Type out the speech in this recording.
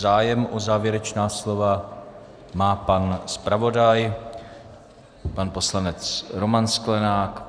Zájem o závěrečná slova má pan zpravodaj, pan poslanec Roman Sklenák.